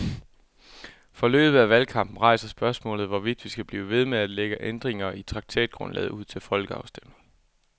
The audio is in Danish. Forløbet af valgkampen rejser spørgsmålet, hvorvidt vi skal blive ved med at lægge ændringer i traktatgrundlaget ud til folkeafstemning.